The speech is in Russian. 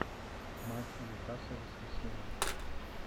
матч ньюкасл воскресенье